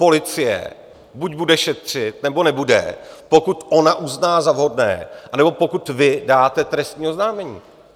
Policie buď bude šetřit, nebo nebude, pokud ona uzná za vhodné, nebo pokud vy dáte trestní oznámení.